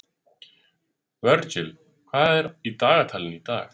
Virgill, hvað er í dagatalinu í dag?